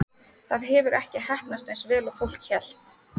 Það hefur ekki heppnast eins vel og fólk hélt.